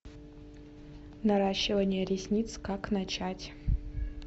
наращивание ресниц как начать